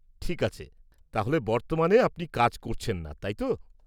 -ঠিক আছে। তাহলে বর্তমানে আপনি কাজ করছেন না, তাই তো?